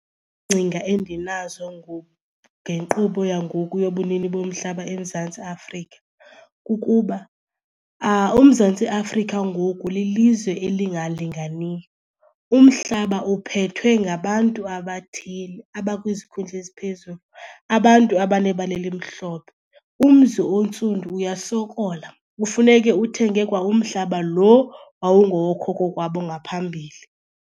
endinazo ngenkqubo yangoku yobunini bomhlaba eMzantsi Afrika kukuba uMzantsi Afrika ngoku lilizwe elingalinganiyo, umhlaba uphethwe ngabantu abathile abakwizikhundla eziphezulu, abantu abanebala elimhlophe. Umzi ontsundu uyasokola, kufuneke uthenge kwa umhlaba lo wawungowookhokho kwabo ngaphambili.